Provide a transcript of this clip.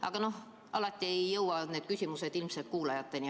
Aga no alati ei jõua need küsimused ilmselt kuulajateni.